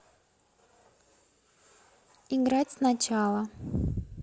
играть сначала